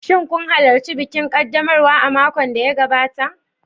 Shin kun halarci bikin ƙaddamarwa a makon da ya gabata?